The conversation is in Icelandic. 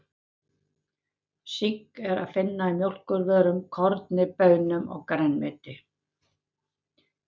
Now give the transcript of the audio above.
Sink er að finna í mjólkurvörum, korni, baunum og grænmeti.